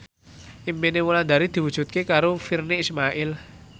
impine Wulandari diwujudke karo Virnie Ismail